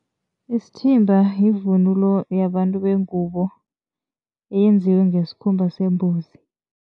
Isithimba yivunulo yabantu bengubo eyenziwe ngesikhumba sembuzi.